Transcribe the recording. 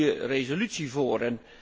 Er ligt een goede resolutie voor.